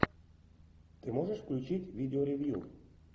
ты можешь включить видео ревю